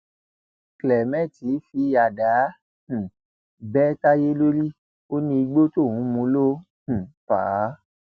clement fi àdá um bẹ tayé lórí ó ní igbó tóun mú ló um fà á